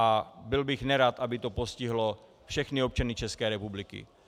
A byl bych nerad, aby to postihlo všechny občany České republiky.